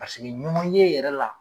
Paseke ɲɔn ɲe yɛ